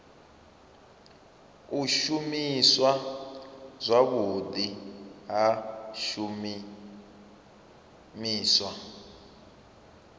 u shumiswa zwavhudi ha zwishumiswa